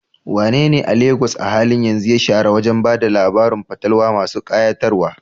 Wanene a Legas a halin yanzu ya shahara wajen ba da labarun fatalwa masu kayatarwa?